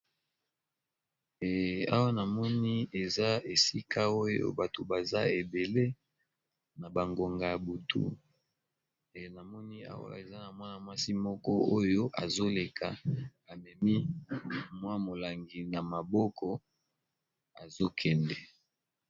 Awa namoni eza esika oyo bato baza ebele na bangonga ya butu namoni awa eza na mwana-mwasi moko oyo azoleka amemi mwa molangi na maboko azokende.